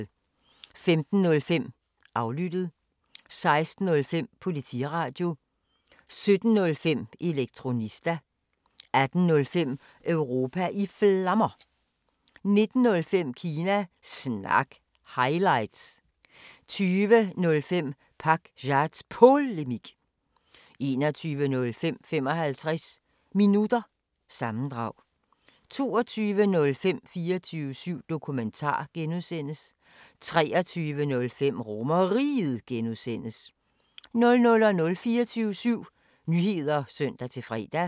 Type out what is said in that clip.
15:05: Aflyttet 16:05: Politiradio 17:05: Elektronista 18:05: Europa i Flammer 19:05: Kina Snak – highlights 20:05: Pakzads Polemik 21:05: 55 Minutter – sammendrag 22:05: 24syv Dokumentar (G) 23:05: RomerRiget (G) 00:00: 24syv Nyheder (søn-fre)